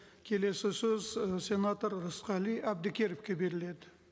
келесі сөз ы сенатор рысқали әбдікеровке беріледі